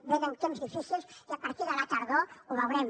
venen temps difícils i a partir de la tardor ho veurem